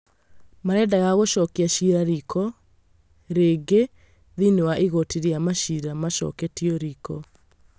Marendaga gũcokia ciira riiko rĩngĩ thĩinĩ wa Igooti rĩa maciira macoketio riiko